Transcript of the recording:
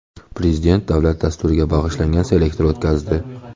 Prezident davlat dasturiga bag‘ishlangan selektor o‘tkazdi.